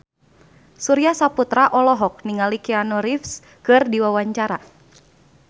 Surya Saputra olohok ningali Keanu Reeves keur diwawancara